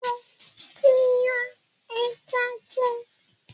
Mo tí yan ẹja jẹ